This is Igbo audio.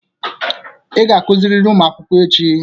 Ị ga-akuziriri ụmụ akwụkwọ echi!